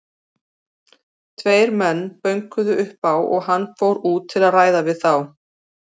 Tveir menn bönkuðu upp á og hann fór út til að ræða við þá.